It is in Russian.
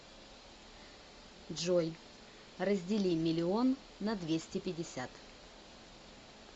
джой раздели миллион на двести пятьдесят